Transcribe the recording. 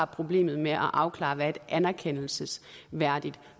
problemet med at afklare hvad et anerkendelsesværdigt